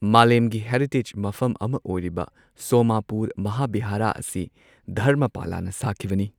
ꯃꯥꯂꯦꯝꯒꯤ ꯍꯦꯔꯤꯇꯦꯖ ꯃꯐꯝ ꯑꯃ ꯑꯣꯏꯔꯤꯕ ꯁꯣꯃꯥꯄꯨꯔ ꯃꯍꯥꯕꯤꯍꯥꯔꯥ ꯑꯁꯤ ꯙꯔꯃꯄꯂꯥꯅ ꯁꯥꯈꯤꯕꯅꯤ꯫